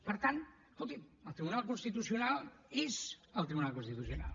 per tant escolti’m el tribunal constitucional és el tribunal constitucional